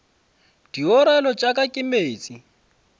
diorelo tša ka ke meetse